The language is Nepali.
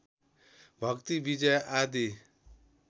भक्ति विजय आदि